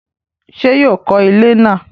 ṣé yóò kọ ilẹ́ náà?